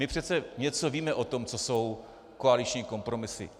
My přece víme něco o tom, co jsou koaliční kompromisy.